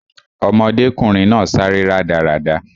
Ọmọdékùnrin náà sáré rádaràda